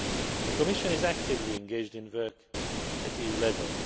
The Commission is actively engaged in work at EU level.